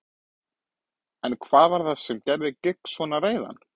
En hvað var það sem gerði Giggs svona reiðan?